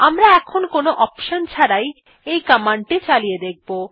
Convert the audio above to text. আমরা এখন কোন অপশন ছাড়াই এই কমান্ডটি চালিয়ে দেখব